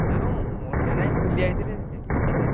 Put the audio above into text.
ନାଁ ମୋର ମାନେ ନାହିଁ ଭୁଲିଯାଇଥିଲି ସେଇ ପଚାରିଦେଲି।